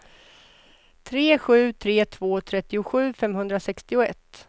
tre sju tre två trettiosju femhundrasextioett